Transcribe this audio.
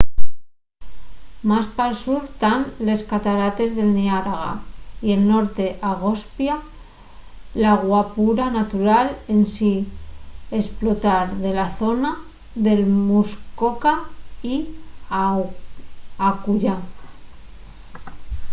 más pal sur tán les catarates del niágara y el norte agospia la guapura natural ensin esplotar de la zona de muskoka y acullá